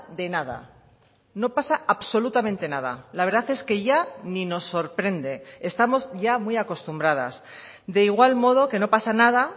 de nada no pasa absolutamente nada la verdad es que ya ni nos sorprende estamos ya muy acostumbradas de igual modo que no pasa nada